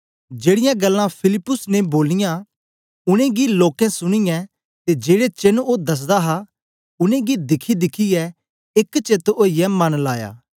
जेड़ीयां गल्लां फिलिप्पुस ने बोलियां उनेंगी लोकें सुनीयै ते जेड़े चेन्न ओ दसदा हा उनेंगी दिखीदिखियै एक चेत ओईयै मन लाया